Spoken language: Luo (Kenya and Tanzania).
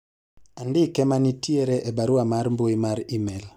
andike manitie a barua mar mbui mar email